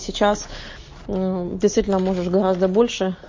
сейчас действительно можешь гораздо больше